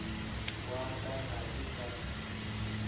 wa ka ga ke sa